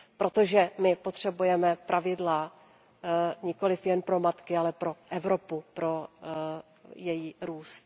Protože my potřebuje pravidla nikoliv jen pro matky, ale pro Evropu, pro její růst.